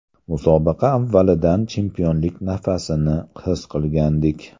Musobaqa avvalidan chempionlik nafasini his qilgandik.